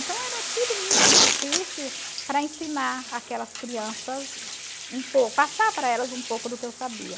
Então era tudo muito difícil para ensinar aquelas crianças, passar para elas um pouco do que eu sabia.